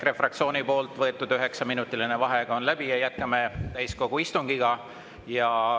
EKRE fraktsiooni võetud üheksaminutiline vaheaeg on läbi ja jätkame täiskogu istungit.